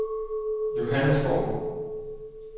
Johannesborg